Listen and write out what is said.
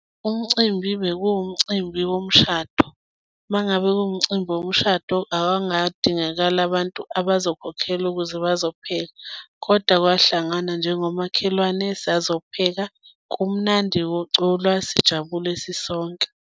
Umcimbi bekuwumcimbi womshado. Uma ngabe kuwumcimbi womshado abangadingakala abantu abazokhokhelwa ukuze bazophepha, kodwa kwahlanganwa njengomakhelwane sazopheka kumnandi kuculwa, sijabule sisonke.